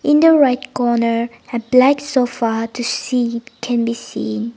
in the right corner a black sofa to see can be seen.